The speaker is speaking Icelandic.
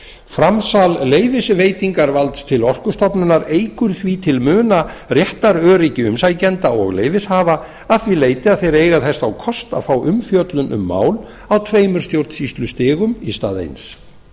framsal leyfisveitingarvalds til orkustofnunar eykur því til muna réttaröryggi umsækjenda og leyfishafa að því leyti að þeir eiga þess þá kost að fá umfjöllun um mál á tveimur stjórnsýslustigum í stað eins